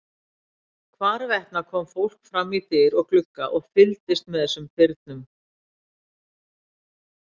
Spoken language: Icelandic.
Hvarvetna kom fólk fram í dyr og glugga og fylgdist með þessum firnum.